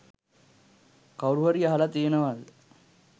කවුරු හරි අහලා තියෙනවාද